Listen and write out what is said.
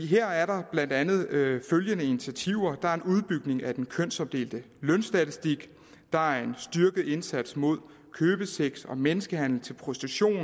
her er der blandt andet følgende initiativer der er en udbygning af den kønsopdelte lønstatistik der er en styrket indsats mod købesex og menneskehandel til prostitution